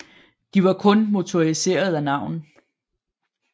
De var kun motoriserede af navn